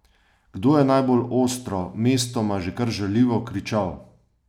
Kdo je najbolj ostro, mestoma že kar žaljivo kričal?